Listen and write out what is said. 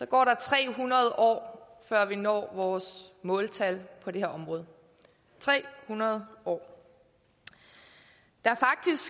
går der tre hundrede år før vi når vores måltal på det her område tre hundrede år der